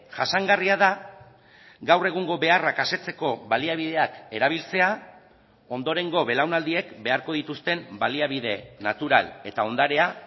jasangarria da gaur egungo beharrak asetzeko baliabideak erabiltzea ondorengo belaunaldiek beharko dituzten baliabide natural eta ondarea